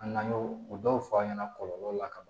An nan'o o dɔw f'a ɲɛna kɔlɔlɔ la ka ban